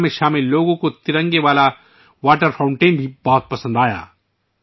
اس programme میں شرکت کرنے والوں نے پانی کے ترنگے فواروں کو بہت پسند کیا